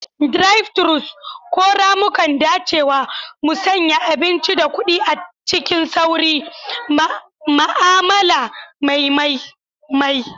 Drive-thrus, ko ramukan dacewa, musanya abinci da kuɗi cikin sauri, ma'amala mai mai mai.